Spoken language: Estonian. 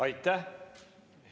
Aitäh!